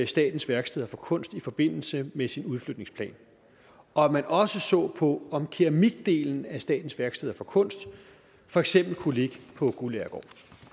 statens værksteder for kunst i forbindelse med sine udflytningsplaner og at man også så på om keramikdelen af statens værksteder for kunst for eksempel kunne ligge på guldagergård